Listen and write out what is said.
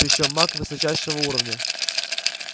причём маг высочайшего уровня